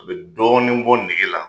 A be dɔɔnin bɔ nɛge la